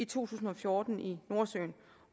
tusind og fjorten i nordsøen